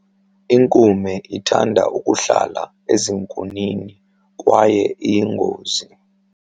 Inkume ithanda ukuhlala ezinkunini kwaye iyingozi.